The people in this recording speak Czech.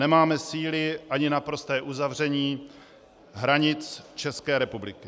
Nemáme síly ani na prosté uzavření hranic České republiky.